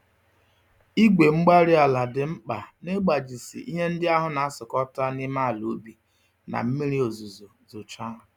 igwe-mgbárí-ala dị mkpa n'ịgbajisi ihe ndị ahụ n'asụkọta n'ime àlà ubi, na mmiri ozuzo zochaa